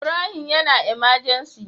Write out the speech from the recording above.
Ibrahim yAna emergency